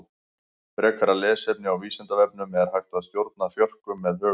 Frekara lesefni á Vísindavefnum Er hægt að stjórna þjörkum með huganum?